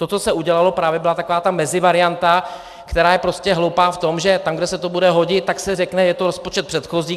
To, co se udělalo, právě byla taková ta mezivarianta, která je prostě hloupá v tom, že tam, kde se to bude hodit, tak se řekne: je to rozpočet předchozí.